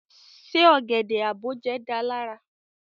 Se ogede-aboje da ilera?